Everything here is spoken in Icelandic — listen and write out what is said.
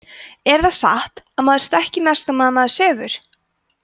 er það satt að maður stækki mest á meðan maður sefur